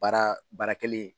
Baara baara kelen.